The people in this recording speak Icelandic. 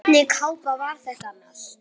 Hvernig kápa var þetta annars?